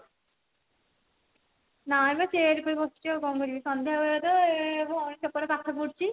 ନାଲୋ chair ଉପରେ ବସିଛି ଆଉ କଣ କରିବି ସନ୍ଧ୍ଯା ବେଳେ ତ ଭଉଣୀ ସେପଟେ ପାଠ ପଢୁଛି